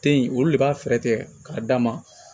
Te yen olu de b'a fɛɛrɛ tigɛ k'a d'a ma